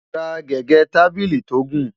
rà gẹgẹ tábìlì tó gùn